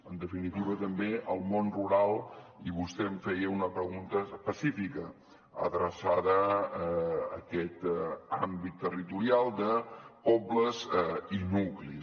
en definitiva també el món rural i vostè em feia una pregunta específica adreçada a aquest àmbit territorial de pobles i nuclis